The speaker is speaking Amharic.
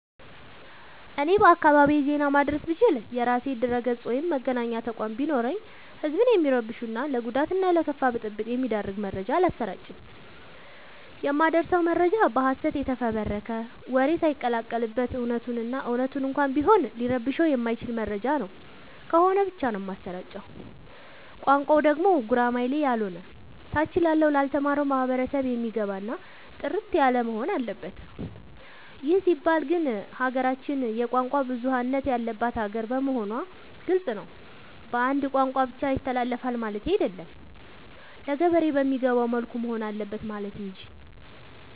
እኔ በአካባቢዬ ዜና ማድረስ ብችል። የራሴ ድረገፅ ወይም መገናኛ ተቋም ቢኖረኝ ህዝብን የሚረብሹ እና ለጉዳት እና ለከፋ ብጥብ የሚዳርግ መረጃ አላሰራጭም። የማደርሰው መረጃ በሀሰት የተፈበረከ ወሬ ሳይቀላቀል በት እውነቱን እና እውነት እንኳን ቢሆን ሊረብሸው የማይችል መረጃ ነው ከሆነ ብቻ ነው የማሰራጨው። ቋንቋው ደግሞ ጉራማይሌ ያሎነ ታች ላለው ላልተማረው ማህበረሰብ የሚገባ እና ጥርት ያለወሆን አለበት ይህ ሲባል ግን ሀገራችን የቋንቋ ብዙሀለት ያለባት ሀገር መሆኗ ግልፅ ነው። በአንድ ቋንቋ ብቻ ይተላለፍ ማለቴ አይደለም ለገበሬ በሚገባው መልኩ መሆን አለበት ማለት እንጂ።